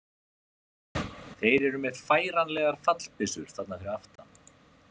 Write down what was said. Þeir eru með færanlegar fallbyssur þarna fyrir aftan